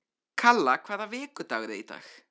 Kalla, hvaða vikudagur er í dag?